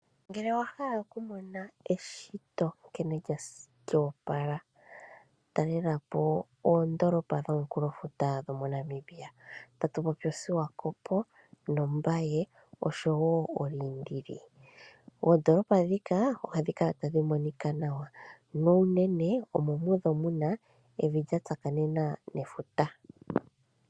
Ngele owahala okumona eshito nkeno lyo opala talelapo oondoolopa dho komunkulofuta dho mo Namibia. Oswakopo nombaye oshowo oliindili. Oondolopa ndhika oha dhi kala tadhi monika nawa, na unene omo moka mudho muna evi lya tsakanena nefuta.